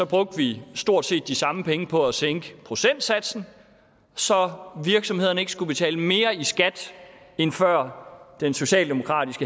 brugte vi stort set de samme penge på at sænke procentsatsen så virksomhederne ikke skulle betale mere i skat end før den socialdemokratisk